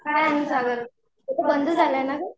काय आणि बंद झालंय ना गं